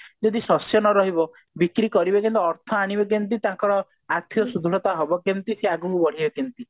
ଯଦି ଶସ୍ୟ ନ ରହିବ ବିକ୍ରି କରିବେ କେନ୍ତି ଅର୍ଥ ଆଣିବେ କେମତି ତାଙ୍କର ଆର୍ଥିକ ସୁଦୃଢତା ହବ କେମତି ସିଏ ଆଗକୁ ବଢିବେ କେମତି